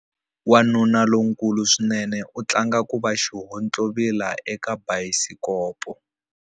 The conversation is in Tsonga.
Wanuna lonkulu swinene u tlanga ku va xihontlovila eka bayisikopo.